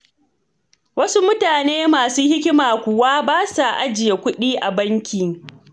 Wasu mutane masu hikima kuwa ba sa ajiye kuɗi a banki.